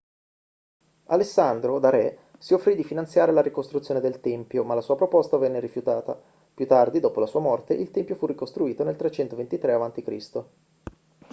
alessandro da re si offrì di finanziare la ricostruzione del tempio ma la sua proposta venne rifiutata più tardi dopo la sua morte il tempio fu ricostruito nel 323 a.c